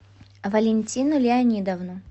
валентину леонидовну